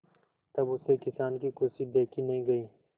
तब उससे किसान की खुशी देखी नहीं गई